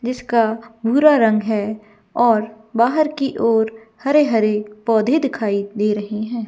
जिसका भूरा रंग है और बाहर की ओर हरे हरे पौधे दिखाई दे रहें हैं।